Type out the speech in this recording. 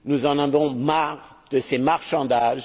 Nous en avons marre de ces marchandages.